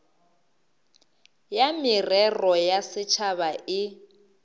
ya merero ya setšhaba e